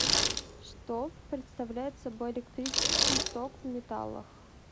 что представляет собой электрический ток в металлах